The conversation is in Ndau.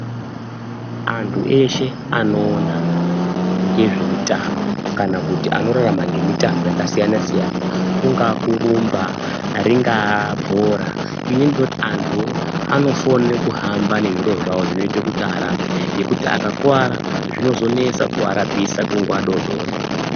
Antu eshe anoona ngezvemitambo kana kuti anorarama ngemitambo yakasiyana siyana kungaa kurumba ringaa bhora ini ndinoti antuwo anofone kuhamba nezviro zvawo zvinoite kuti arapwe ngekuti akakuwara zvinozonesa kuarapisa kunguwa dodori.